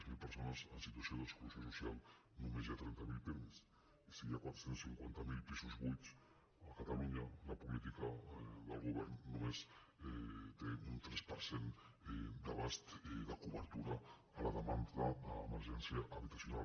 zero persones en situació d’exclusió social només hi ha trenta miler pirmi i si hi ha quatre cents i cinquanta miler pisos buits a catalunya la política del govern només té un tres per cent d’abast de cobertura a la demanda d’emergència habitacional